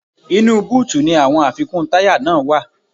Inú búùtì ni àwọn àfikún táyà náà wá.